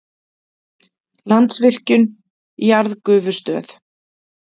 Landsvirkjun- jarðgufustöð.